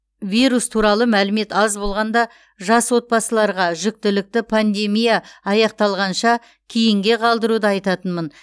вирус туралы мәлімет аз болғанда жас отбасыларға жүктілікті пандемия аяқталғанша кейінге қалдыруды айтатынмын